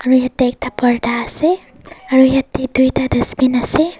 aro yati ekta purtah ase aro yati tuita dustbin ase.